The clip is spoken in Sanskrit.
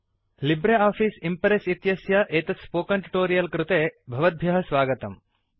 लिब्रे आफ़ीस् इम्प्रेस् इत्यस्य एतत् स्पोकन् ट्युटोरियल् कृते भवद्भ्यः स्वागतम्